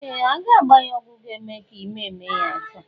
Ee! A ga-agba ya ọgwụ ga-eme ka ime mee ya taa.